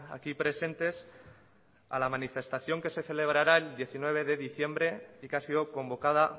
aquí presentes a la manifestación que se celebrará el diecinueve de diciembre y que ha sido convocada